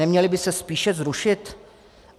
Neměly by se spíše zrušit?